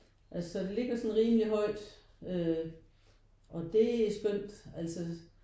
Altså den ligger sådan rimelig højt øh og det er skønt altså